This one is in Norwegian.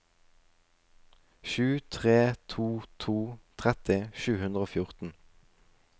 sju tre to to tretti sju hundre og fjorten